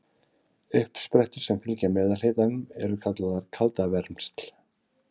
Uppsprettur sem fylgja meðalhitanum eru kallaðar kaldavermsl.